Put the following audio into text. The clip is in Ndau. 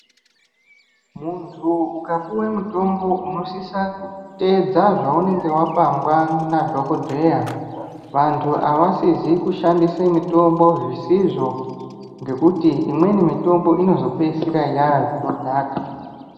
Muntu ukapuwe mutombo unosisa kuteedza zvaunenge wapangwa nadhokodheya. Vantu havasizi kushandise mitombo zvisizvo ngekuti imweni mitombo inozopedzisira yazvinodhaka.